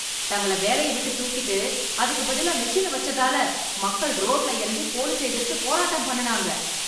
தங்களை வேலைய விட்டு தூக்கிட்டு அதுக்கு பதிலா மெஷினை வச்சதால, மக்கள் ரோட்ல இறங்கி போலீஸை எதிர்த்து போராட்டம் பண்ணுனாங்க